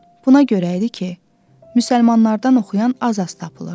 Buna görə idi ki, müsəlmanlardan oxuyan az-az tapılırdı.